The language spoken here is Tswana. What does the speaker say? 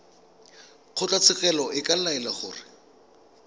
kgotlatshekelo e ka laela gore